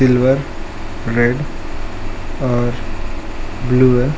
Silver red और blue है।